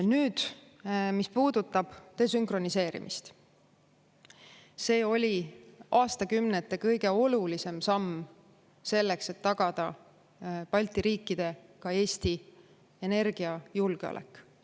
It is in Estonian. Nüüd, mis puudutab desünkroniseerimist, see oli aastakümnete kõige olulisem samm selleks, et tagada Balti riikide, ka Eesti energiajulgeolek.